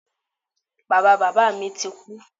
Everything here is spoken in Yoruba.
Bàba bàbá mi ti kú.